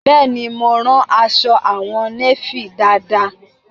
Bẹ́ẹ̀ ni, mo rán aṣọ àwọn néfì dáadáa